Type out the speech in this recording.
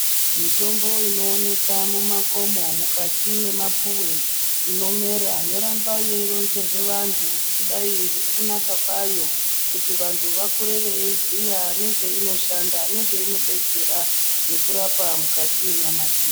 Mutombo inooneka mumakomo mukati mwemapuwe inomera yoramba yeironzerwe vantu kudai ngekunaka kwayo kuti vantu vakure vaziye nezveinoshanda, nezveinodetsera mukati menyama dzedu.